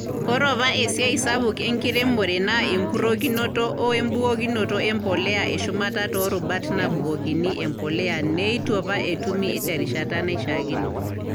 Ore apa esiai sapuk enkiremore naa enkurrokinoto o embukokinoto e mpolea e shumata too rubat naabukokini e mpolea neitu apa etumi terishata naishiakino.